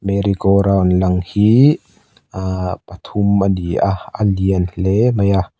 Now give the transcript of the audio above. merry go round lang hi aaa pathum a ni a a lian hle mai a.